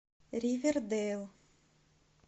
ривердейл